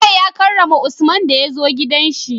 bello ya karrama usman daya zo gidan shi